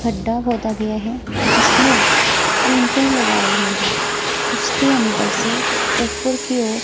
खड्डा खोदा गया है जिसमें ईंटें लगाई हुई है उसके अंदर से ऊपर की ओर--